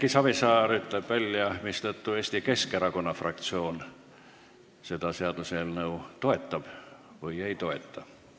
Erki Savisaar ütleb välja, mistõttu Eesti Keskerakonna fraktsioon seda seaduseelnõu toetab või ei toeta.